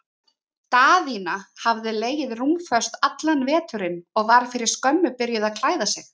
Daðína hafði legið rúmföst allan veturinn og var fyrir skömmu byrjuð að klæða sig.